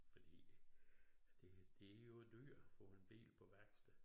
Fordi det det jo dyrt at få en bil på værksted